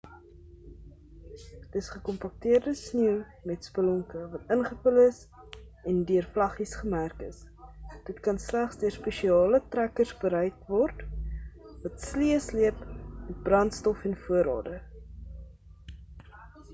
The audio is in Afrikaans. dis gekompakteerde sneeu met spelonke wat ingevul is en deur vlaggies gemerk is dit kan slegs deur spesiale trekkers bereik word wat sleë sleep met brandstof en voorraade